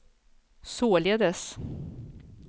således